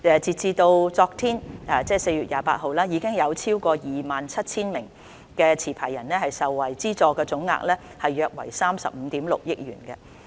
截至昨天，已有超過 27,000 名持牌人受惠，資助總額約為35億 6,000 萬元。